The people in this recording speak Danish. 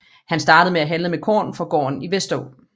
Han startede med at handle med korn fra gården i Vesteraa